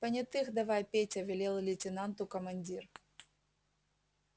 понятых давай петя велел лейтенанту командир